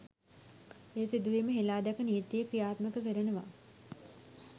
ඒ සිදුවීම හෙළා දැක නීතිය ක්‍රියාත්මක කරනවා.